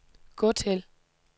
gå til